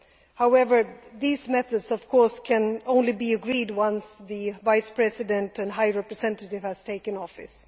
However, these methods can only be agreed once the Vice President and High Representative has taken office.